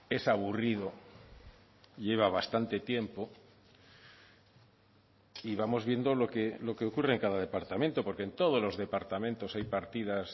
es aburrido lleva bastante tiempo y vamos viendo lo que ocurre en cada departamento porque en todos los departamentos hay partidas